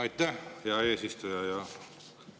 Aitäh, hea eesistuja!